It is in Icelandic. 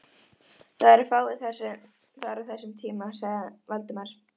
Það eru fáir þar á þessum tíma sagði Valdimar.